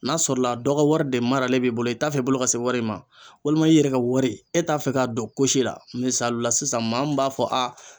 N'a sɔrɔ la dɔ ka wari de maralen b'i bolo i t'a fɛ i bolo ka se wari in ma walima i yɛrɛ ka wari e t'a fɛ k'a don ko si la misalila sisan maa min b'a fɔ a